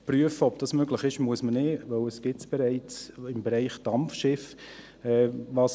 Prüfen, ob dies möglich ist, muss man also nicht, da es dies im Bereich Dampfschiffe bereits gibt.